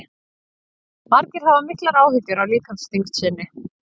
margir hafa miklar áhyggjur af líkamsþyngd sinni